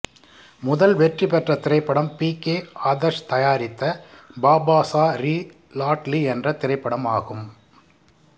முதல் வெற்றி பெற்ற திரைப்படம் பி கே ஆதர்ஷ் தயாரித்த பாபாசா ரி லாட்லி என்ற திரைப்படம் ஆகும்